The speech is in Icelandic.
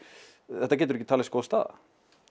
þetta getur ekki talist góð staða